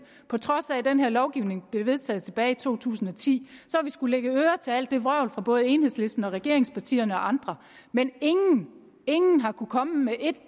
på trods af at den her lovgivning blev vedtaget tilbage i to tusind og ti skullet lægge øre til alt det vrøvl fra både enhedslisten og regeringspartierne og andre men ingen ingen har kunnet komme med et